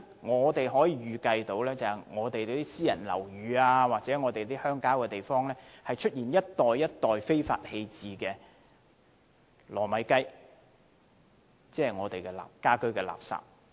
我可以預計私人樓宇或鄉郊地方將會出現一袋一袋非法棄置的"糯米雞"，即家居垃圾。